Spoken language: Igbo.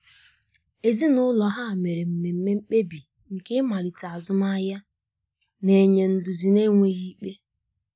Ezinụlọ um ha mere mmeme mkpebi nke imalite azụmahia, na-enye nduzi n'enweghi ikpe.